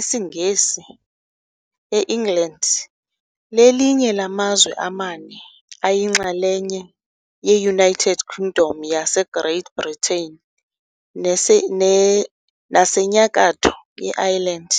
isiNgesi e-England, lelinye lamazwe amane ayinxalenye ye -United Kingdom yaseGreat Britain naseNyakatho ye-Ireland,